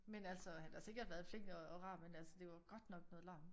Men altså han har sikkert været flink og rar men det var godt nok noget larm